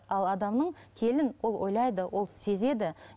ал адамның келін ол ойлайды ол сезеді